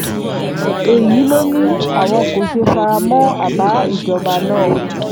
èyí ló ní àwọn kò ṣe fara mọ́ àbá ìjọba náà